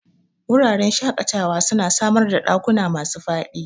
Wuraren shakatawa suna samar ɗakuna masu faɗi